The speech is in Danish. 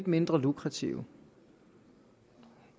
mindre lukrative